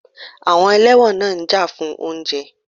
Àwọn ẹlẹ́wọ̀n náà ń jà fún oúnjẹ